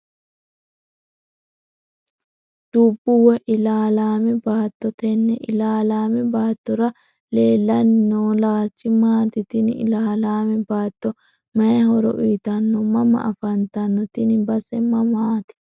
dubbo woyi ilaalame baato tene ilaalame baatora leelani noo laalichi maati tini ilaalame baato mayi horo uyiitano mama afantano tini base mamaati.